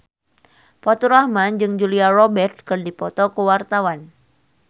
Faturrahman jeung Julia Robert keur dipoto ku wartawan